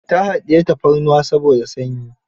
Ta haɗiyi tafarnuwa saboda sanyi.